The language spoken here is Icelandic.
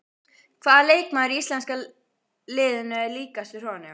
Hvaða leikmaður í íslenska liðinu er líkastur honum?